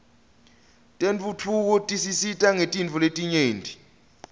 tentfutfuko tisisita ngetintfo letinyenti